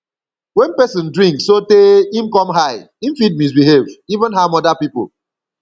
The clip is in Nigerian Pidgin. when person drink sotey im come high im fit misbehave even harm oda pipo